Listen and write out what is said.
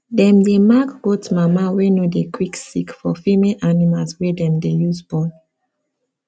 dem dey mark goat mama wey no dey quick sick for female animals wey dem dey use born